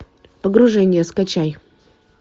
погружение скачай